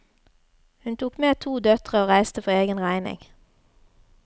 Hun tok med to døtre og reiste for egen regning.